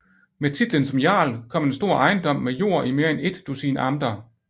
Med titlen som jarl kom en stor ejendom med jord i mere end et dusin amter